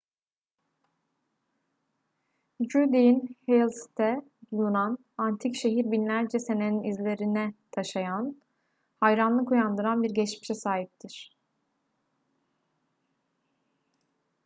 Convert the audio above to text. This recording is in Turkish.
judean hills'te bulunan antik şehir binlerce senenin izlerine taşıyan hayranlık uyandıran bir geçmişe sahiptir